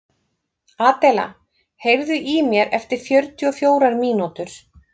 Adela, heyrðu í mér eftir fjörutíu og fjórar mínútur.